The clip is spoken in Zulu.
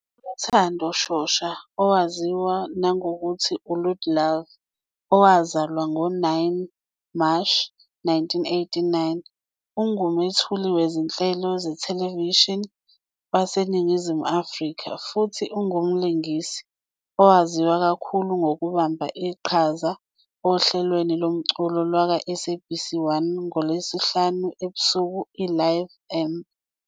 ULuthando Shosha, owaziwa nangokuthi uLoot Love, owazalwa ngoMashi 9, 1989, ungumethuli wezinhlelo zethelevishini waseNingizimu Afrika futhi ungumlingisi, owaziwa kakhulu ngokubamba iqhaza ohlelweni lomculo "lwakwaSABC 1 ngoLwesihlanu ebusuku i-Live Amp."